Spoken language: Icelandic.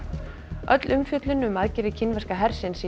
öll umfjöllun um aðgerðir kínverska hersins í